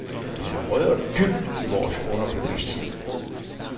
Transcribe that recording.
Den har rødder dybt i vores underbevidsthed.